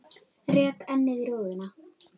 Rek ennið í rúðuna.